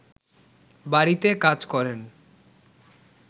বাড়িতে কাজ করেন